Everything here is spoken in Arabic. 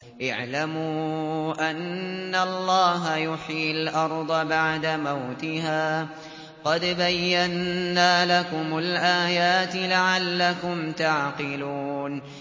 اعْلَمُوا أَنَّ اللَّهَ يُحْيِي الْأَرْضَ بَعْدَ مَوْتِهَا ۚ قَدْ بَيَّنَّا لَكُمُ الْآيَاتِ لَعَلَّكُمْ تَعْقِلُونَ